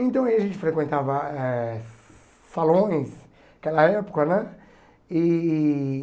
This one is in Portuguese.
Então, aí a gente frequentava eh salões aquela época né e.